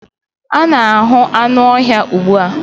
a na-ahu anụ ọhịa ugbu a